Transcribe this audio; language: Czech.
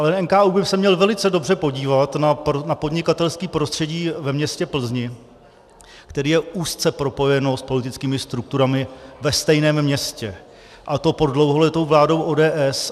Ale NKÚ by se měl velice dobře podívat na podnikatelské prostředí ve městě Plzni, které je úzce propojeno s politickými strukturami ve stejném městě, a to pod dlouholetou vládou ODS.